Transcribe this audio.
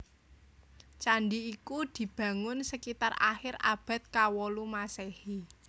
Candi iki dibangun sekitar akhir abad kawolu Maséhi